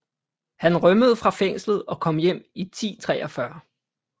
Han rømmede fra fængslet og kom hjem i 1043